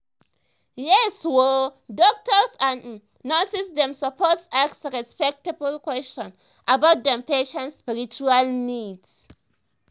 yes oo doctors and um nurses dem suppose ask respectful questions about dem patients spiritual needs